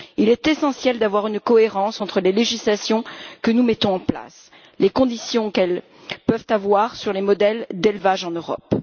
Il est essentiel de veiller à une cohérence entre les législations que nous mettons en place et les conséquences qu'elles peuvent avoir sur les modèles d'élevage en Europe.